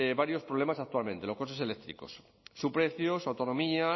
varios problemas actualmente los coches eléctricos su precio su autonomía